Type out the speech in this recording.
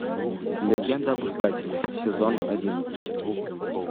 легенда об искателе сезон одиннадцать